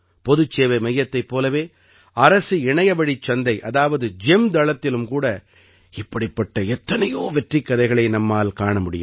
பொதுச் சேவை மையத்தைப் போலவே அரசு இணையவழிச் சந்தை அதாவது ஜெம் தளத்திலும் கூட இப்படிப்பட்ட எத்தனையோ வெற்றிக் கதைகளை நம்மால் காண முடியும்